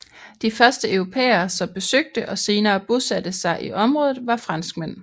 De første europæere som besøgte og senere bosatte sig i området var franskmænd